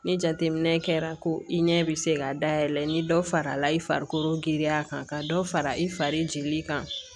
Ni jateminɛ kɛra ko i ɲɛ be se ka dayɛlɛ i ni dɔ farala i farikolo giriya kan ka dɔ fara i fari jeli kan